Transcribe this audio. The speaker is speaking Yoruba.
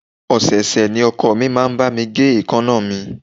Ọ̀sẹ̀ ọ̀sẹ̀ ni ọkọ mi máa ń bá mi gé èèkánná mi